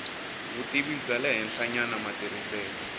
vutivi bya le henhlanyana matirhiselo